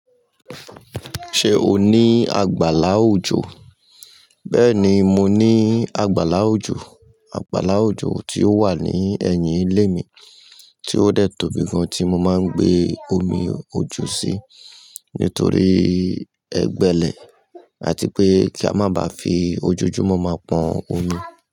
Ṣé o ní àgbàlá òjò? Bẹ́ẹ̀ni, mo ní àgbàlá òjò. Àgbàlá òjò tí ó wà ní ẹ̀yìn ilé mi tí ó dẹ̀ tóbi gan tí mo máa ń gbé omi ojo sí nítorí ẹgbẹ́lẹ̀ àti pé kí a má ba fi ojojúmọ̀ máa pọn omi.